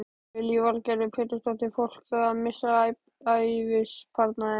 Lillý Valgerður Pétursdóttir: Fólk að missa ævisparnaðinn?